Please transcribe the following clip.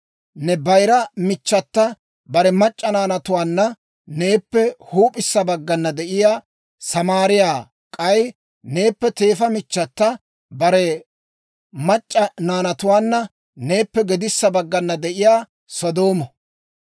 Ne bayira michchata bare mac'c'a naanatuwaanna neeppe huup'issa baggana de'iyaa Samaariyaa; k'ay neeppe teefa michchata bare mac'c'a naanatuwaanna neeppe gedissa baggana de'iyaa Sodoomo.